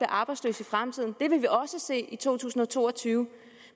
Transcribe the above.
arbejdsløse i fremtiden det vil vi også se i to tusind og to og tyve